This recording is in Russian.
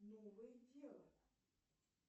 новое дело